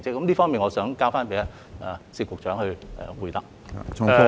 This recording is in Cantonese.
這方面，我想交給薛局長回答。